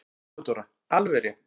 THEODÓRA: Alveg rétt!